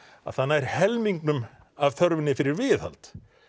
að það nær helmingnum af þörfinni fyrir viðhald